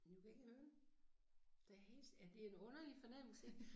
Du kan ikke høre. Der helt ja det en underlig fornemmelse